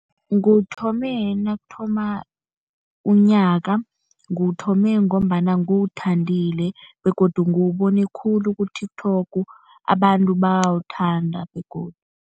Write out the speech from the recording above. Nguwuthome nakuthoma unyaka. Nguwuthome ngombana nguwuthandile begodu nguwubone khulu ku-TikTok, abantu bayawuthanda begodu.